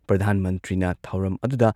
ꯄ꯭ꯔꯙꯥꯟ ꯃꯟꯇ꯭ꯔꯤꯅ ꯊꯧꯔꯝ ꯑꯗꯨꯗ